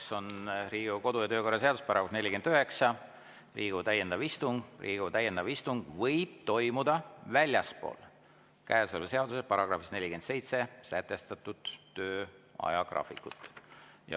See on reguleeritud Riigikogu kodu‑ ja töökorra seaduse §‑s 49, "Riigikogu täiendav istung": "Riigikogu täiendav istung võib toimuda väljaspool käesoleva seaduse §‑s 47 sätestatud töö ajagraafikut.